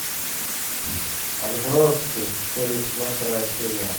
отбросы первый сезон вторая серия